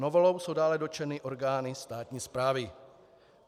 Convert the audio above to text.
Novelou jsou dále dotčeny orgány státní správy.